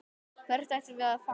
Hvert ættum við að fara?